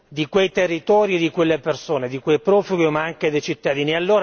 di quei territori e di quelle persone, di quei profughi ma anche dei cittadini.